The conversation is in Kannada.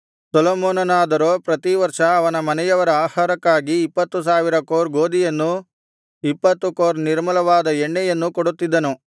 ಸೊಲೊಮೋನನಾದರೋ ಪ್ರತಿ ವರ್ಷ ಅವನ ಮನೆಯವರ ಆಹಾರಕ್ಕಾಗಿ ಇಪ್ಪತ್ತು ಸಾವಿರ ಕೋರ್ ಗೋದಿಯನ್ನೂ ಇಪ್ಪತ್ತು ಕೋರ್ ನಿರ್ಮಲವಾದ ಎಣ್ಣೆಯನ್ನೂ ಕೊಡುತ್ತಿದ್ದನು